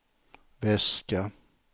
väska